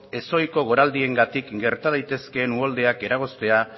ez ohiko goraldiengatik gerta daitezkeen uholdeak eragoztea